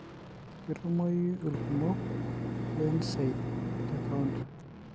ketumoyu ilkumok le NSAIDS te counter.